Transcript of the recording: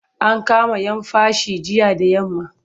An kama'yan fashi jiya da yamma.